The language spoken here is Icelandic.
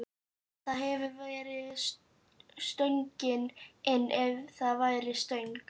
Það hefði verið stöngin inn ef það væri stöng!